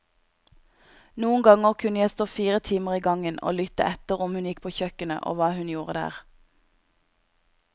Noen ganger kunne jeg stå fire timer i gangen og lytte etter om hun gikk på kjøkkenet og hva hun gjorde der.